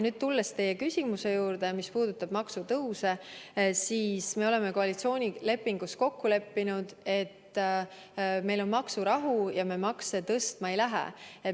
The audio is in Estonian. Tulles teie küsimuse juurde, mis puudutab maksutõuse, siis me oleme koalitsioonilepingus kokku leppinud, et meil on maksurahu ja me makse tõstma ei lähe.